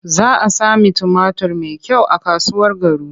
Za a sami tumatur mai kyau a kasuwar Garu.